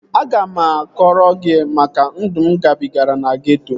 Aga m akọrọ gị maka ndụ mụ gabigara na geeto